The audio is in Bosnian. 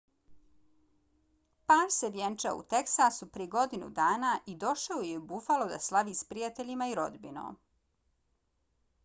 par se vjenčao u teksasu prije godinu dana i došao je u buffalo da slave s prijateljima i rodbinom